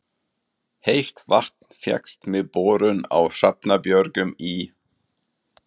Heitt vatn fékkst með borun á Hrafnabjörgum í